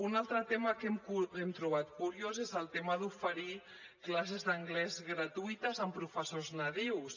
un altre tema que hem trobat curiós és el tema d’oferir classes d’anglès gratuïtes amb professors nadius